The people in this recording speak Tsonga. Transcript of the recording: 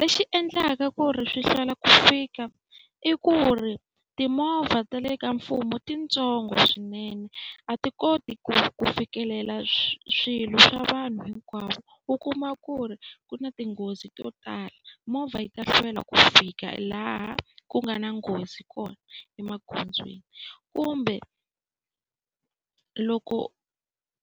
Lexi endlaka ku ri swi hlwela ku fika i ku ri timovha ta le ka mfumo i ti ntsongo swinene, a ti koti ku ku fikelela swilo swa vanhu hinkwavo. U kuma ku ri ku na tinghozi to tala, movha yi ta hlwela ku fika laha ku nga na nghozi kona emagondzweni. Kumbe loko